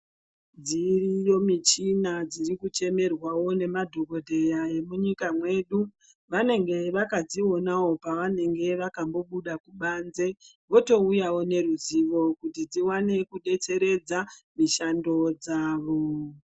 Dziriyo michina dzirikuchemerwawo nemadhokodheya emunyika mwedu. Vanenge vakadzionawo pavanenge vakambobuda kubanze, votouyawo neruzivo kuti dziwane kubetseredza mishando dzavo.